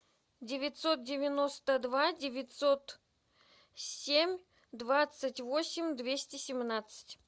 девятьсот девяносто два девятьсот семь двадцать восемь двести семнадцать